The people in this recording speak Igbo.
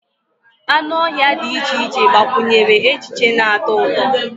Anụ ọhịa dị iche iche gbakwunyere echiche na-atọ ụtọ